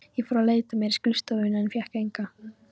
Ég fór að leita mér að skrifstofuvinnu en fékk enga.